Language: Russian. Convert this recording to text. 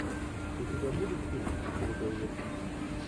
у тебя будет фильм в стиле боевика